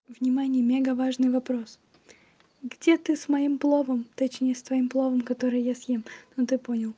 внимание мега важный вопрос где ты с моим пловом точнее с твоим пловом которые я съем ну ты понял